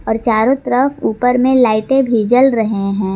और चारों तरफ ऊपर में लाइटें भी जल रहे हैं।